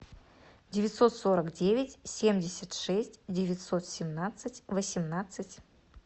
девятьсот сорок девять семьдесят шесть девятьсот семнадцать восемнадцать